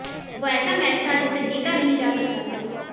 वो ऐसा मैच था जिसे जीता नहीं जा सकता था